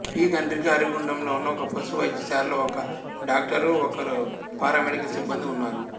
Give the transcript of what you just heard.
P Khandrika అరిగుండ్రంలో ఉన్న ఒక పశు వైద్యశాలలో ఒక డాక్టరు ఒకరు పారామెడికల్ సిబ్బందీ ఉన్నారు